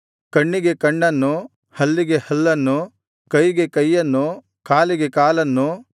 ಕಣ್ಣಿಗೆ ಕಣ್ಣನ್ನು ಹಲ್ಲಿಗೆ ಹಲ್ಲನ್ನು ಕೈಗೆ ಕೈಯನ್ನು ಕಾಲಿಗೆ ಕಾಲನ್ನು